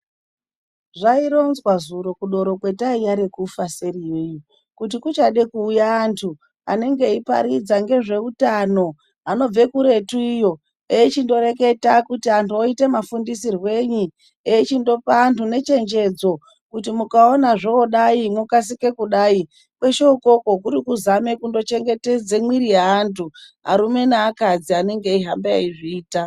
Zvaironzwa zuro kwataiva kudoro rekufa kuti kuchada kuuya antu anenge achiparidza ngezvehutano anobva kuretu eichingoreketa kuti antu oitwa mafundisirweni eichindopa anu ngechendedzo kuti mukaona zvodai mokasira kudai kwese uku kuri kuzama kuchengetedza mwiri yevandu. Arume neakadzi vanenge veyizviita.